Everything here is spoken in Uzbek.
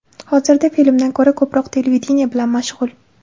Hozirda filmdan ko‘ra ko‘proq televideniye bilan mashg‘ul.